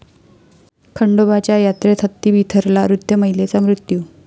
खंडोबाच्या यात्रेत हत्ती बिथरला, वृद्ध महिलेचा मृत्यू